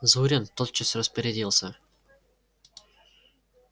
зурин тотчас распорядился